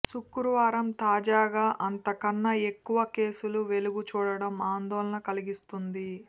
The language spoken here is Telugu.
శుక్రవారం తాజాగా అంతకన్నా ఎక్కువ కేసులు వెలుగు చూడడం ఆందోళన కలిగిస్తోంది